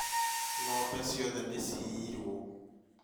ng'ombe ciothe nĩ ciiyirwo